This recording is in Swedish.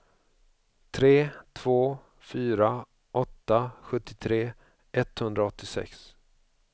tre två fyra åtta sjuttiotre etthundraåttiosex